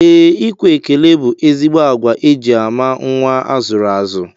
Ee, ikwe ekele bụ ezigbo agwa e ji ama nnwa a zụrụ azụ